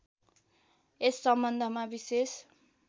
यस सम्बन्धमा विशेष